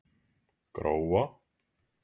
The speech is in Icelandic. Gróa